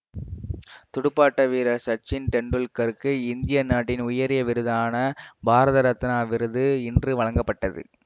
துடுப்பாட்ட வீரர் சச்சின் டெண்டுல்கருக்கு இந்திய நாட்டின் உயரிய விருதான பாரத ரத்னா விருது இன்று வழங்கப்பட்டது